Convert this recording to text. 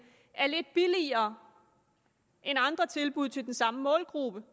er lidt billigere end andre tilbud til den samme målgruppe